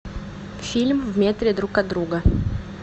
фильм в метре друг от друга